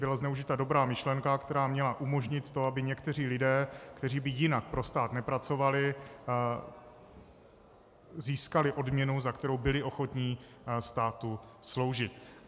Byla zneužita dobrá myšlenka, která měla umožnit to, aby někteří lidé, kteří by jinak pro stát nepracovali, získali odměnu, za kterou byli ochotní státu sloužit.